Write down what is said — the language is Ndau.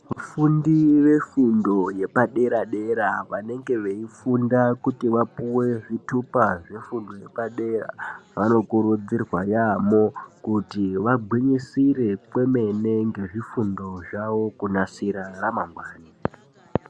Vafundi vefundo yepadera-dera vanenge vachifunda kuti vapuwe zvitupa zvefundo yepadera vanokurudzirwa yaamho kuti vagwinyisire kwemene ngezvifundo zvavo kunasira ramangwani.